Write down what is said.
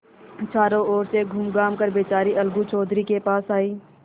चारों ओर से घूमघाम कर बेचारी अलगू चौधरी के पास आयी